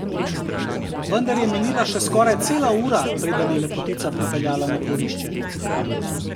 Vendar je minila še skoraj cela ura, preden je Lepotica pripeljala na dvorišče.